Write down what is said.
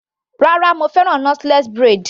Rárá mo fẹ́ràn knotless braid.